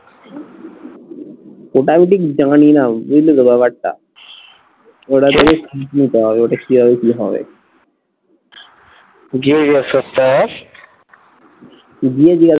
ওটা আমি ঠিক জানিনা বুঝলি তো ব্যাপারটা, ওটা আসলে খোঁজ নিতে হবে ওটা কিভাবে কি হবে গিয়ে জিজ্ঞেস করতে হয় গিয়ে জিজ্ঞেস